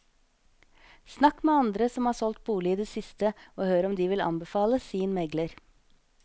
Snakk med andre som har solgt bolig i det siste, og hør om de vil anbefale sin megler.